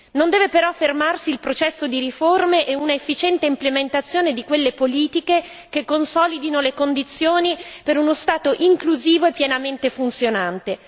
Non deve però fermarsi il processo di riforme e un'efficiente implementazione di quelle politiche che consolidino le condizioni per uno Stato inclusivo e pienamente funzionate.